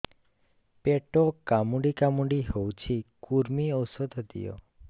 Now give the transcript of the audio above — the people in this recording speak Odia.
ପେଟ କାମୁଡି କାମୁଡି ହଉଚି କୂର୍ମୀ ଔଷଧ ଦିଅ